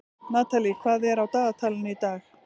Natalie, hvað er á dagatalinu í dag?